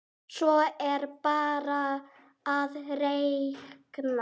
Svo er bara að reikna.